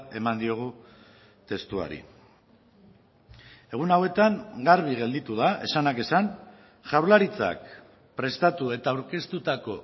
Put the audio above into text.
eman diogu testuari egun hauetan garbi gelditu da esanak esan jaurlaritzak prestatu eta aurkeztutako